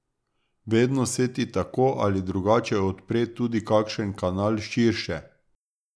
Vedno se ti tako ali drugače odpre tudi kakšen kanal širše.